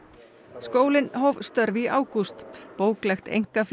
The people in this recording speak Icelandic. skólinn hóf störf í ágúst bóklegt